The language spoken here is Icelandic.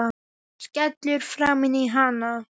Skellur framan í hann.